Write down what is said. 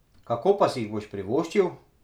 Kako pa si jih boš privoščil?